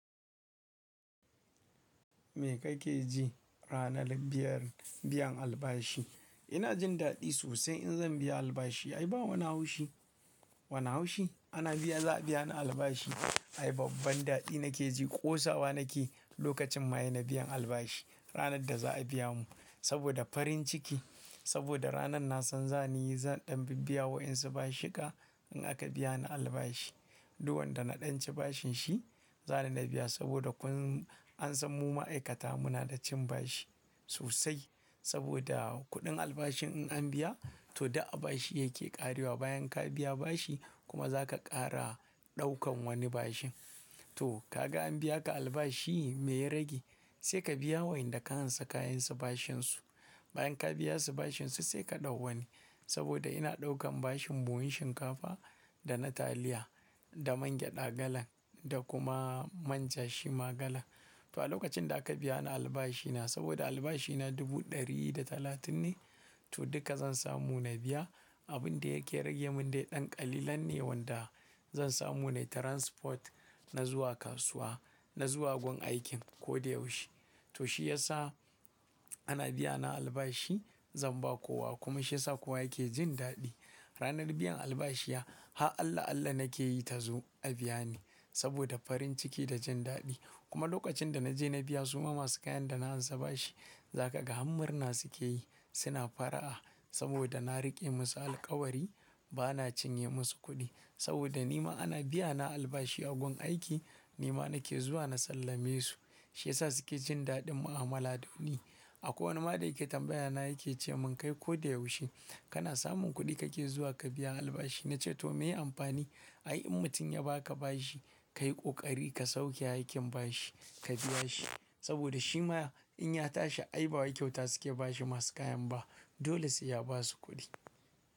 Me kake ji ranar biyan albashi? Ina jin daɗi sosai in zan biya albashi. Ai ba wani haushi, wani haushi ana biya za a biya ni albashi. Ai babban daɗi nake ji, ƙosawa nake lokacin ma yayi na biyan albashi. Ranar da za a biya mu saboda farin ciki, saboda ranar na san za ni zan ɗan bib biya wa en su bashishshi ka in aka biya ni albashi. Duk wanda na ɗanci bashin shi, zani na biya saboda kun an san mu ma'aikata muna da cin bashi sosai. Saboda kuɗin albashin in an biya to da a bashi yake ƙarewa. Bayan ka biya bashi kuma za ka ƙara ɗaukan wani bashin. To ka ga an biya ka albashi me ya rage? Sai ka biya wayanda ka ansa kayan su bashin su. Bayan ka biya su bashin su sai ka ɗau wani. Saboda ina ɗaukan bashin buhun shinkafa da na taliya da man gyaɗa galan da kuma manja shima galan. To a lokacin da aka biya ni albashi na saboda albashi na dubu ɗari da talatin ne, to duka zan samu na biya. Abin da yake rage mun dai ɗan ƙalilan ne wanda zan samu na yi transport na zuwa kasuwa na zuwa gun aikin ko da yaushe. To shi ya sa ana biya na albashi zan ba kowa kuma shi ya sa kowa yake jin daɗi. Ranar biyan albashiya, ha Allah Allah nake yi tazo a biya ni saboda farin ciki da jin daɗi. Kuma lokacin da na je na biya su ma masu kayan da na ansa bashi, za ka ga hammur na suke yi suna fara'a saboda na riƙe musu alƙawari ba na cinye musu kuɗi. Saboda ni ma ana biya na albashi a gun aiki ni ma nake zuwa na sallame su. Shi ya sa suke jin daɗin mu'amala da ni. A ko wane ma da yake tambaya na yake ce mun kai ko da yaushe kana samun kuɗi kake zuwa ka biya albashi. Na ce to me amfani ai in mutum ya ba ka bashi kayi ƙoƙari ka sauke haƙin bashi ka biya shi saboda shi ma in ya tashi ai ba wa kyauta suke bashi masu kayan ba dole sai ya ba su kuɗi.